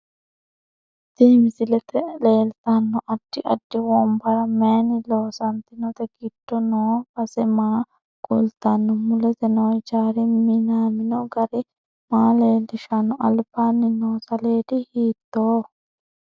Tini misilete leetanno addi addi. wonbarra mayiini loosantinote giddo noo base maa kultanno mulese noo hijaari minamino garri maa leelishano albaani noo saleedi hiitooho